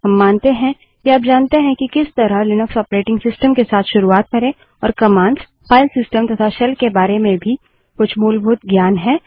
हम मानते हैं कि आप जानते हैं कि किस तरह लिनक्स ऑपरेटिंग सिस्टम के साथ शुरुआत करे और कमांड्स फाइल सिस्टम तथा शेल के बारे में कुछ मूलभूत ज्ञान भी है